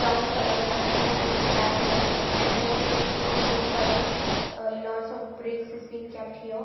Brown color another one is a black color and here we could see the blue color uh lots of brakes is been kept here.